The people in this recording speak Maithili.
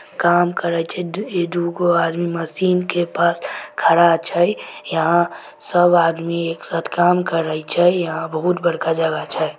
काम कर छै ई दू गो आदमी मशीन के पास खड़ा छै। यहां सब आदमी एक साथ काम करय छै यहां बहुत बड़का जगह छै।